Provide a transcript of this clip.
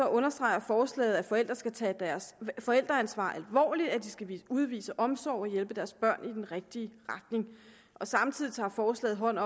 understreger forslaget at forældre skal tage deres forældreansvar alvorligt at de skal udvise omsorg og hjælpe deres børn i den rigtige retning samtidig tager forslaget hånd